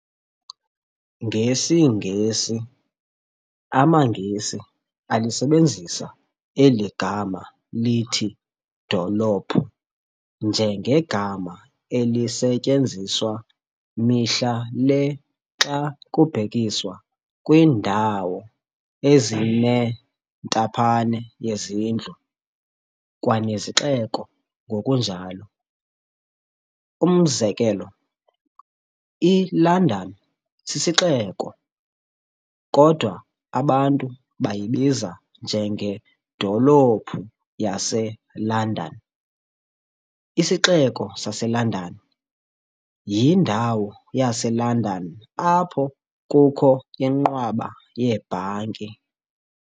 NgesiNgesi, amaNgesi alisebenzisa eli gama lithi dolophu njengegama elisetyenziswa mihla le xa kubhekiswa kwiindawo ezinentaphane yezindlu kwanezixeko ngokunjalo. Umzekelo, iLondon sisixeko, kodwa abantu bayibiza njengedolophu yaseLondon, isixeko saseLondon, yindawo yaseLondon apho kukho inqwaba yeebhanki.